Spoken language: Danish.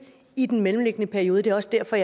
i den mellemliggende periode det er også derfor